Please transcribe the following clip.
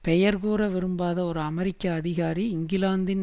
பெயர் கூற விரும்பாத ஒரு அமெரிக்க அதிகாரி இங்கிலாந்தின்